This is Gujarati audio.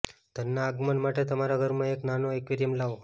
ધનના આગમન માટે તમારા ઘરમાં એક નાનો એક્વેરિયમ લાવો